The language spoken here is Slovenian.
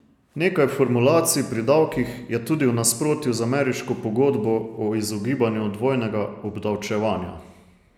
Nekaj formulacij pri davkih je tudi v nasprotju z ameriško pogodbo o izogibanju dvojnega obdavčevanja.